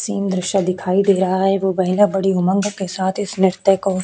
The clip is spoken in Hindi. सेम दॄश्य दिखाई दे रहा है वो महिला बड़ी उमंग के साथ इस नृत्य को--